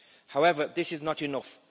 however, this is not enough.